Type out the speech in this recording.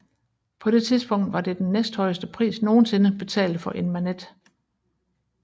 På det tidspunkt var det den næsthøjeste pris nogensinde betalt for en Manet